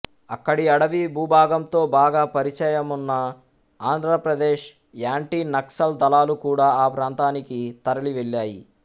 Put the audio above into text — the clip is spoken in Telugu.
అక్కడి అడవి భూభాగంతో బాగా పరిచయమున్న ఆంధ్రప్రదేశ్ యాంటీ నక్సల్ దళాలు కూడా ఆ ప్రాంతానికి తరలి వెళ్ళాయి